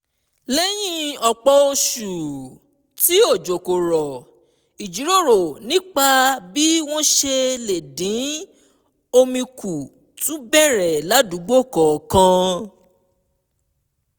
lẹ́yìn ọ̀pọ̀ oṣù tí òjò kò rọ̀ ìjíròrò nípa bí wọ́n ṣe lè dín omi kù tún bẹ̀rẹ̀ ládùúgbò kọ̀ọ̀kan